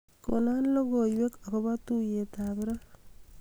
konon logoiwek agopo tugey ab raa